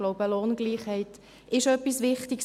Ich glaube, Lohngleichheit ist etwas Wichtiges.